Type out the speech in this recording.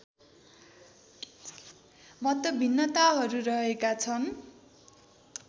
मतभिन्नताहरू रहेका छन्